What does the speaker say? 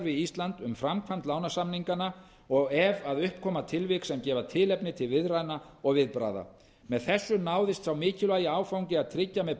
ísland um framkvæmd lánasamninganna og ef að upp koma tilvik sem gefa tilefni til viðræðna og viðbragða með þessu náðist sá mikilvægi áfangi að tryggja með